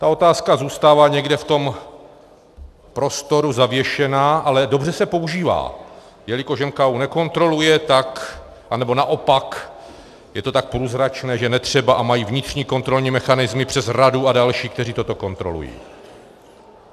Ta otázka zůstává někde v tom prostoru zavěšená, ale dobře se používá, jelikož je NKÚ nekontroluje, tak, anebo naopak je to tak průzračné, že netřeba a mají vnitřní kontrolní mechanismy přes radu a další, kteří toto kontrolují.